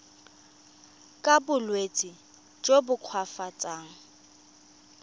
ka bolwetsi jo bo koafatsang